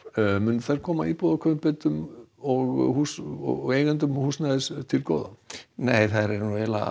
munu þær koma íbúðakaupendum og húsnæðiseigendum og húsnæðiseigendum nei þær eru